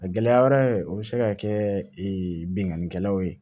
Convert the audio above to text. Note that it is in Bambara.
A gɛlɛya wɛrɛ o bɛ se ka kɛ binkannikɛlaw ye